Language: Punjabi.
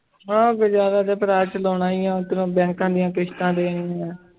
ਹਾਂ ਗੁਜ਼ਾਰਾ ਤੇ ਭਰਾ ਚਲਾਉਣਾ ਹੀ ਆਂ ਬੈਕਾਂ ਦੀਆਂ ਕਿਸ਼ਤਾਂ ਦੇਣੀਆਂ।